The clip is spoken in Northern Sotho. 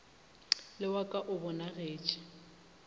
le wa ka o bonagetše